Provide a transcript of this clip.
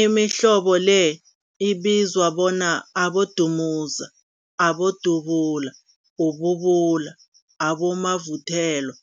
Imihlobo le ibizwa bona, Abodumuza, Abodubula, ububula, abomavuthelwa,